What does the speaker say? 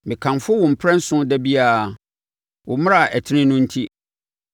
Mekamfo wo mprɛnson da biara wo mmara a ɛtene no enti.